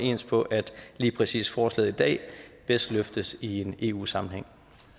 ens på at lige præcis forslaget i dag bedst løftes i en eu sammenhæng